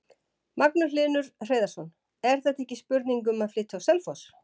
Magnús Hlynur Hreiðarsson: Er þetta ekki spurning um að flytja á Selfoss?